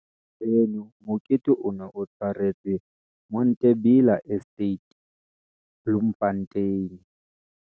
Venue- Mokete o ne o tshwaretswe Monte Bella Estate, Bloemfontein.